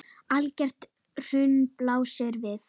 Algert hrun blasir við.